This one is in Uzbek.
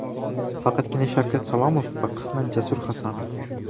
Faqatgina Shavkat Salomov va qisman Jasur Hasanov.